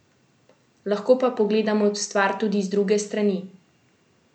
Lahko pa pogledamo stvar tudi z druge strani.